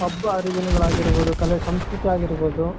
ಹಬ್ಬ ಹರಿದಿನಗಳಾಗಿರಬಹುದು ಕಲೆ ಸಂಸ್ಕೃತಿ ಆಗಿರಬಹುದು